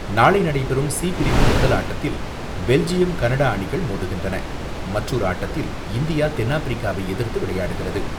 நாளை நடைபெறும் சி பிரிவு முதல் ஆட்டத்தில் பெல்ஜியம் கனடா அணிகள் மோதுகின்றன, மற்றொரு ஆட்டத்தில் இந்தியா தென்னாப்பிரிக்காவை எதிர்த்து விளையாடுகிறது.